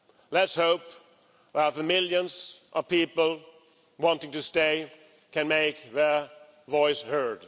Let's hope that the millions of people wanting to stay can make their voices heard.